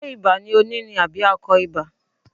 Ṣé ibà ni ó ní ni àbí akọ ibà.